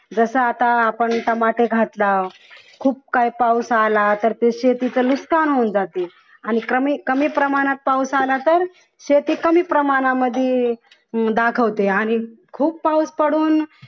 जसं आता आपण टमाटे घालतात खूप काही पाऊस आला तर ते शेतीचे नुकसान होऊन जाते आणि कमी आणि कमी प्रमाणात पाऊस आला तर शेती कमी प्रमाणामध्ये हम्म दाखवते आणि खूप पाऊस पडून